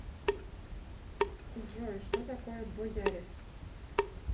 джой что такое бояре